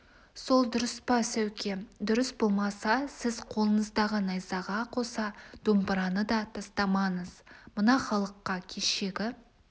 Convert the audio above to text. сол дұрыс па сәуке дұрыс болмаса сіз қолыңыздағы найзаға қоса домбыраны да тастамаңыз мына халыққа кешегі